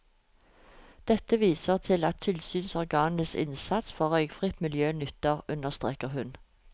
Dette viser at tilsynsorganenes innsats for røykfritt miljø nytter, understreker hun.